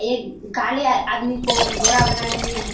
एक काले आदमी को गोरा बनाने में --